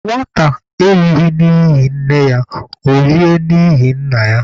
Nwata erighị n'ihi nne ya, ọ rie n'ihi nna ya.